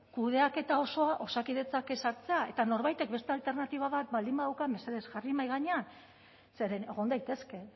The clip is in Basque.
kudeaketa osoa osakidetzak ezartzea eta norbaitek beste alternatiba bat baldin badauka mesedez jarri mahai gainean zeren egon daitezke